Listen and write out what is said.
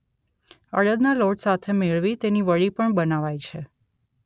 અડદના લોટ સાથે મેળવી તેની વડી પણ બનાવાય છે